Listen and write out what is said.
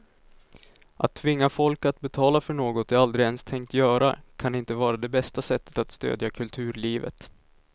Att tvinga folk att betala för något de aldrig ens tänkt göra kan inte vara det bästa sättet att stödja kulturlivet.